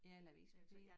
Ja eller avispapir